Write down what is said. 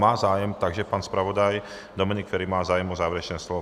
Má zájem, takže pan zpravodaj Dominik Feri má zájem o závěrečné slovo.